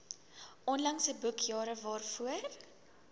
onlangse boekjare waarvoor